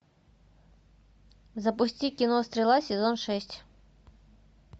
запусти кино стрела сезон шесть